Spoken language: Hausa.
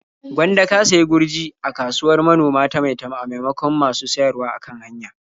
Gwanda ka sayi gurji a kasuwar manoma ta Maitama a maimakon masu siyarwa a kan hanya.